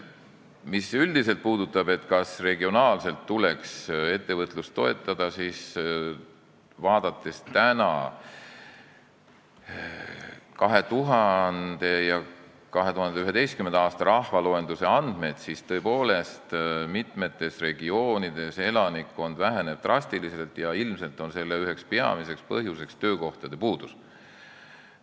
Mis puudutab üldiselt seda, kas regionaalselt tuleks ettevõtlust toetada, siis vaadates täna 2000. ja 2011. aasta rahvaloenduse andmeid, on näha, et tõepoolest, mitmes regioonis elanikkond väheneb drastiliselt ja ilmselt on selle üheks peamiseks põhjuseks töökohtade puudus.